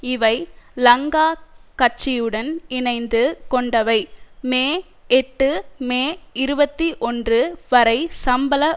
இவை லங்கா கட்சியுடன் இணைந்து கொண்டவை மே எட்டு மே இருபத்தி ஒன்று வரை சம்பள